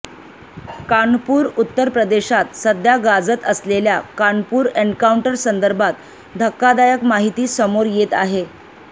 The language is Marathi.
कानपूरः उत्तप्रे देशात सध्या गाजत असलेल्या कानपूर एन्काउंटरसंदर्भात धक्कादायक माहिती समोर येत आहे